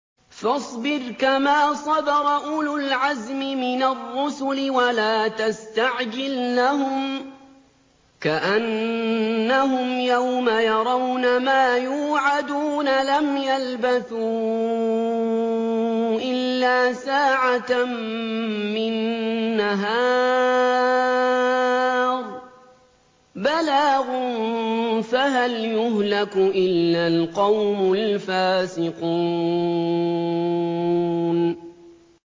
فَاصْبِرْ كَمَا صَبَرَ أُولُو الْعَزْمِ مِنَ الرُّسُلِ وَلَا تَسْتَعْجِل لَّهُمْ ۚ كَأَنَّهُمْ يَوْمَ يَرَوْنَ مَا يُوعَدُونَ لَمْ يَلْبَثُوا إِلَّا سَاعَةً مِّن نَّهَارٍ ۚ بَلَاغٌ ۚ فَهَلْ يُهْلَكُ إِلَّا الْقَوْمُ الْفَاسِقُونَ